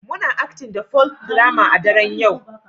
Muna Acting the Folk drama a daren yau